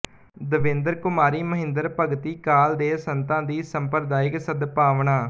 ਦੇਵਿੰਦਰ ਕੁਮਾਰੀ ਮਹਿੰਦਰੁ ਭਗਤੀ ਕਾਲ ਦੇ ਸੰਤਾਂ ਦੀ ਸੰਪਰਦਾਇਕ ਸਦਭਾਵਨਾਂ